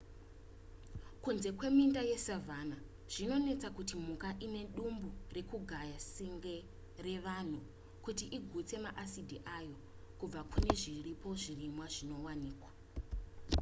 kunze kweminda yesavanna zvinonetsa kuti mhuka ine dumbu rekugaya senge revanhu kuti igutse ma asidi ayo kubva kune zviripo zvirimwa zvezviwanikwa